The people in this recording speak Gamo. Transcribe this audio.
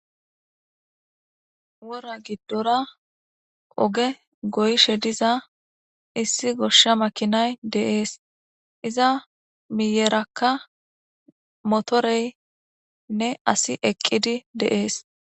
Wora giddora oge goyishe diza issi goshsha makinay de7ees. Iza miyeraka motorenne asi eqqidi de7ees.